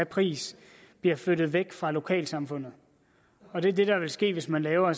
pris bliver flyttet væk fra lokalsamfundet og det er det der vil ske hvis man laver